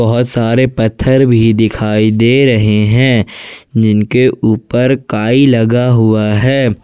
और सारे पत्थर भी दिखाई दे रहे है जिनके ऊपर कई लगा हुआ है।